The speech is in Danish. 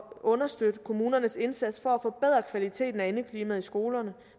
understøtte kommunernes indsats for at forbedre kvaliteten af indeklimaet i skolerne